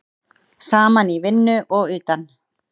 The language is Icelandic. Saman í vinnu og utan.